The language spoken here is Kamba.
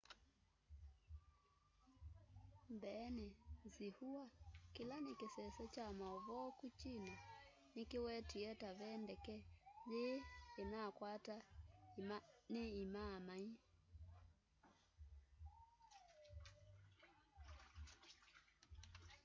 mbeeni xinhua kila nikisese kya mauvoo ku china nikiwetie ta ve ndeke yii inakwata ni imaamai